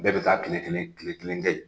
Bɛɛ bɛ taa tile kelen tile kelen kɛ yen.